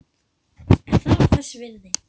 En það var þess virði.